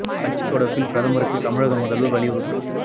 ஹஜ் தொடர்பில் பிரதமருக்கு தமிழக முதல்வர் வலியுறுத்து